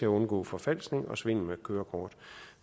at undgå forfalskning og svindel med kørekort